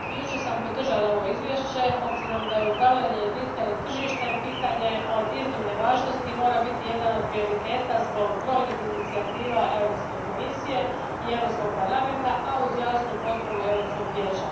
Gospodine predsjedniče, jučer sam podržala ovo izvješće s obzirom da je upravljanje jedinstvenim tržištem pitanje od iznimne važnosti te mora biti jedno od prioriteta zbog brojnih inicijativa Europske komisije i Europskog parlamenta, a uz jasnu potporu Europskog vijeća.